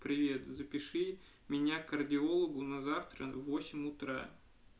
привет запиши меня к кардиологу на завтра в восемь утра